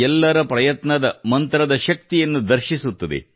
ಎಲ್ಲರ ಪ್ರಯತ್ನದ ಮಂತ್ರದ ಶಕ್ತಿಯನ್ನು ಸಾರುತ್ತದೆ